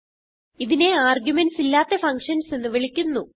ഇതിനെ ആർഗുമെന്റ്സ് ഇല്ലാത്ത ഫങ്ഷൻസ് എന്ന് വിളിക്കുന്നു